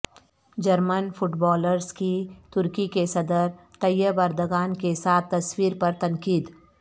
German footballers کی ترکی کے صدر طیب اردگان کے ساتھ تصویر پر تنقید